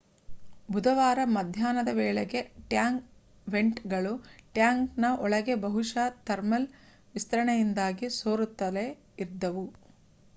ಬುಧವಾರ ಮಧ್ಯಾಹ್ನದ ವೇಳೆಗೆ ಟ್ಯಾಂಗ್ ವೆಂಟ್‌ಗಳು ಟ್ಯಾಂಕ್‌ನ ಒಳಗೆ ಬಹುಶಃ ಥರ್ಮಲ್‌ ವಿಸ್ತರಣೆಯಿಂದಾಗಿ ಸೋರುತ್ತಲೇ ಇದ್ದವು